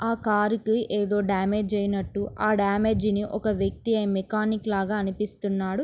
ఆ కార్ కి ఏదో డామేజ్ ఐనట్టు ఆ డామేజ్ ని ఒక వ్వక్తి మెకానిక్ లాగా అనిపిస్తున్నాడు.